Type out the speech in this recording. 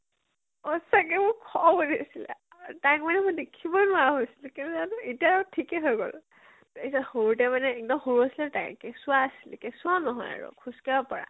সচাকে মোৰ খং উঠিছিলে, তাইক মানে মই দেখিবই নোৱাৰা হৈছিলো। কেলৈ জানো, এতিয়া থিকে হৈ গল। সৰুতে মানে এক্দম সৰু আছিলে তাই, কেঁচুৱা আছিলে, কেঁচুৱা নহয় আৰু, খোজ কাঢ়়িব পাৰা